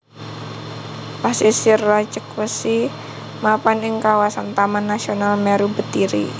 Pasisir Rajegwesi mapan ing kawasan Taman Nasional Meru Betiri